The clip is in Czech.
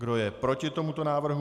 Kdo je proti tomuto návrhu?